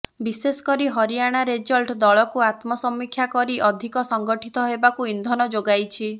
ବିଶେଷକରି ହରିଆଣା ରେଜଲ୍ଟ ଦଳକୁ ଆତ୍ମସମୀକ୍ଷା କରି ଅଧିକ ସଂଗଠିତ ହେବାକୁ ଇନ୍ଧନ ଯୋଗାଇଛି